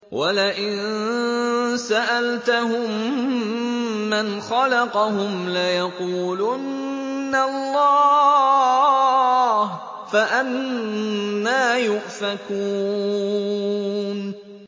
وَلَئِن سَأَلْتَهُم مَّنْ خَلَقَهُمْ لَيَقُولُنَّ اللَّهُ ۖ فَأَنَّىٰ يُؤْفَكُونَ